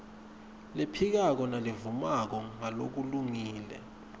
lephikako nalevumako ngalokulungile